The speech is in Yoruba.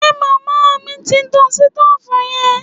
Ṣe màmá mi ti tan sitóòfù yẹn